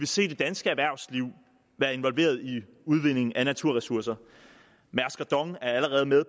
se det danske erhvervsliv være involveret i udvindingen af naturressourcer mærsk og dong er allerede med